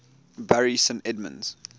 bury st edmunds